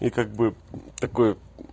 и как бы такой